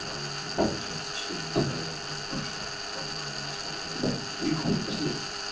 там уже получаетсяивента он прошёл по-моему насколько я помню да и х с ним